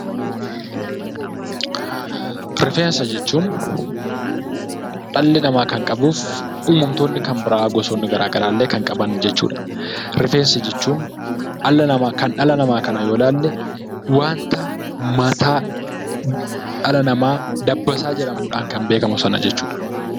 Rifeensa jechuun dhalli namaa kan qabuu fi uumamtoonni kan biraa gosoonni kan biraallee kan qaban jechuudha. Rifeensa jechuun kan dhala namaa kana yoo ilaalle waanta mataa dhala namaa dabbassaa jedhamuudhaan kan beekamu sana jechuudha.